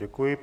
Děkuji.